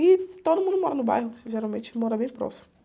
E todo mundo mora no bairro, geralmente mora bem próximo.